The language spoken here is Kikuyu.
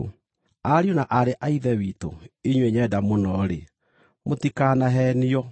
Ariũ na aarĩ a Ithe witũ inyuĩ nyenda mũno-rĩ, mũtikanaheenio.